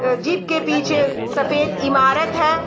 अ jeep के पीछे सफ़ेद ईमारत है।